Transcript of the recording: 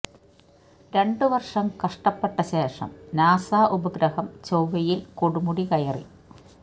രണ്ടു വർഷം കഷ്ടപ്പെട്ട ശേഷം നാസ ഉപഗ്രഹം ചൊവ്വയിൽ കൊടുമുടി കയറി